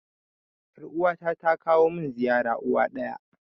Yar uwa ta ta kawo mun ziyara uwa ɗaya